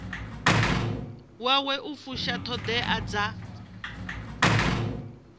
wawe u fusha ṱhoḓea dza